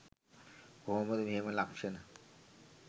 කොහොමද මෙහෙම ලක්‍ෂණ